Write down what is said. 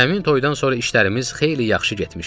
Həmin toyudan sonra işlərimiz xeyli yaxşı getmişdi.